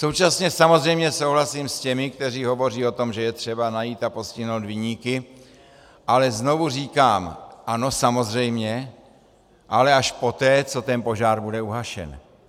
Současně samozřejmě souhlasím s těmi, kteří hovoří o tom, že je třeba najít a postihnout viníky, ale znovu říkám ano, samozřejmě, ale až poté, co ten požár bude uhašen.